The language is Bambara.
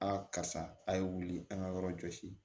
A karisa a' ye wuli an ka yɔrɔ jɔsi